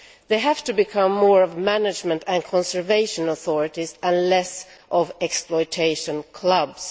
They have to become more of management and conservation authorities, and less of exploitation clubs.